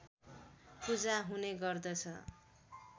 पूजा हुने गर्दछ